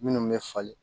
Minnu bɛ falen